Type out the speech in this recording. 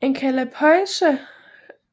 En kalapøjser